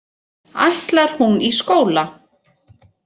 Ætlar hún í skóla.